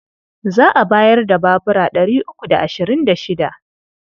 Za a bayar da babura ɗari uku da ashirin da shida.